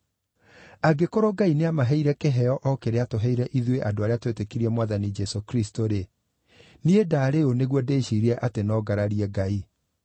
Angĩkorwo Ngai nĩamaheire kĩheo o kĩrĩa aatũheire ithuĩ andũ arĩa twetĩkirie Mwathani Jesũ Kristũ-rĩ, niĩ ndaarĩ ũũ nĩguo ndĩciirie atĩ no ngararie Ngai?”